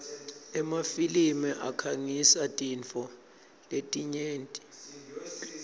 emafilimi akhangisa tintfo letinyenti